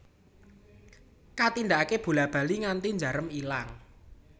Katindakake bola bali nganti njarem ilang